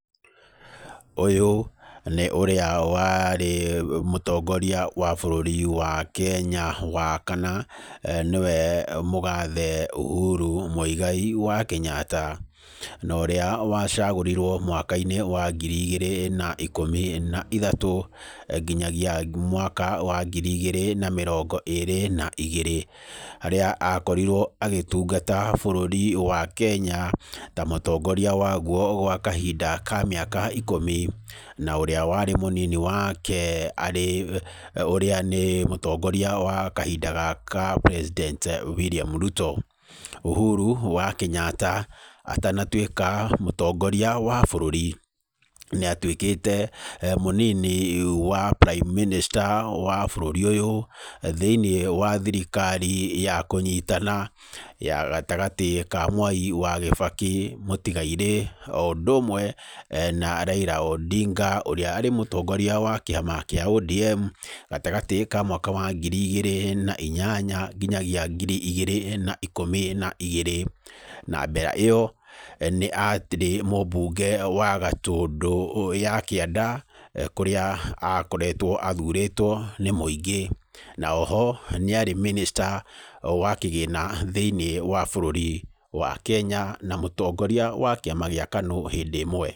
Ũyũ, nĩ ũrĩa warĩ mũtongoria wa bũrũri wa Kenya wa kana, nĩwe mũgathe Uhuru Muigai wa Kenyatta. Na ũrĩa wacagũrirwo mwaka-inĩ wa ngiri igĩrĩ na ikũmi na ithatũ, nginyagia mwaka wa ngiri igĩrĩ na mĩrongo ĩĩrĩ na igĩrĩ. Harĩa akorirwo agĩtungata bũrũri wa Kenya, ta mũtongoria waguo gwa kahinda ka mĩaka ikũmi. Na ũrĩa warĩ mũnini wake, arĩ ũrĩa nĩ mũtongoria wa kahinda gaka president William Ruto. Uhuru wa Kenyatta, atanatuĩka mũtongoria wa bũrũri, nĩ atuĩkĩte, mũnini wa prime minister wa bũrũri ũyũ, thĩiniĩ wa thirikari ya kũnyitana, ya gatagatĩ ka Mwai wa Kibaki mũtigairĩ. O ũndũ ũmwe na Raila Odinga, ũrĩa arĩ mũtongoria wa kĩama kĩa ODM, gatagatĩ ka mwaka wa ngiri igĩrĩ na inyanya, nginyagia ngiri igĩrĩ na ikũmi na igĩrĩ. Na mbera ĩyo, nĩ arĩ mũbunge wa Gatundu ya kĩanda, kũrĩa akoretwo athurĩtwo nĩ mũingĩ. Na oho, nĩ arĩ minister wa kĩgĩna thĩiniĩ wa bũrũri wa Kenya, na mũtongoria wa kĩama gĩa KANU hĩndĩ ĩmwe.